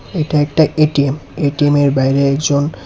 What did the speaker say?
এটা একটা এ_টি_এম এ_টি_এমের বাইরে একজন--